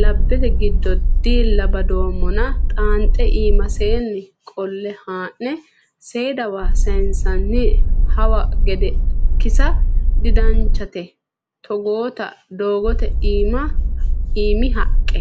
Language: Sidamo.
labbete giddo diila badoommonna xaanxe iimaseni qolle haa'ne seedawa sayinsonni hawa gede kisa didanchate togootta doogote iimi haqqe.